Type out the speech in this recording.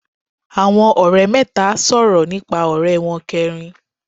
Àwọn òrẹ́ mẹ́ta sòrò nípa òré won keerin